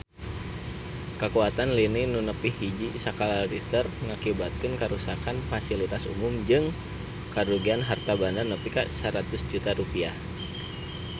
Kakuatan lini nu nepi hiji skala Richter ngakibatkeun karuksakan pasilitas umum jeung karugian harta banda nepi ka 100 juta rupiah